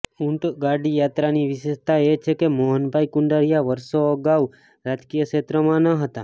ઉંટગાડી યાત્રાની વિશેષતા એ છે કે મોહનભાઈ કુંડારીયા વર્ષો અગાઉ રાજકીય ક્ષેત્રમાં ન હતા